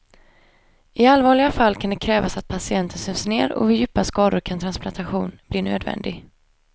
I allvarliga fall kan det krävas att patienten sövs ner och vid djupa skador kan transplantation bli nödvändig.